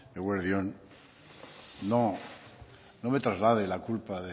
eguerdi on no no me traslade la culpa